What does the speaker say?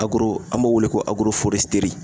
Agoro an b'o wele ko agoroforɛsiteri